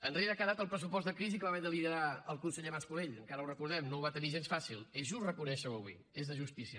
enrere ha quedat el pressupost de crisi que va haver de liderar el conseller mas colell encara ho recordem no ho va tenir gens fàcil és just reconèixer ho avui és de justícia